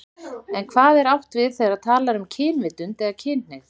En hvað er átt við þegar talað er um kynvitund eða kynhneigð?